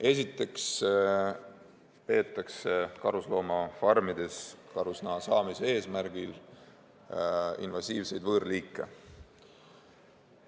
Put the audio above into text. Esiteks, karusloomafarmides peetakse karusnaha saamise eesmärgil invasiivseid võõrliike.